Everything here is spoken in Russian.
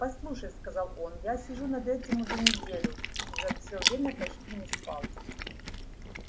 послушай сказал он я сижу над этим уже неделю и за все время почти не спал